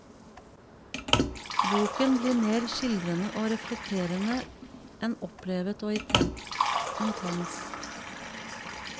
Boken blir mer skildrende og reflekterende enn opplevet og intens.